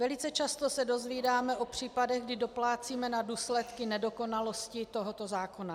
Velice často se dozvídáme o případech, kdy doplácíme na důsledky nedokonalosti tohoto zákona.